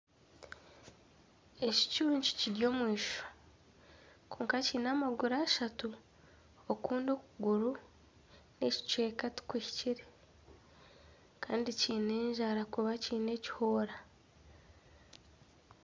Ekicuncu kiri omu eishwa kwonka kiine amaguru ashatu. Okundi okuguru n'ekicweka tikuhikire. Kandi kiine enjara kuba kiine ekihoora.